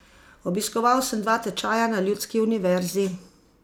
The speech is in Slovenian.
Obiskoval sem dva tečaja na ljudski univerzi.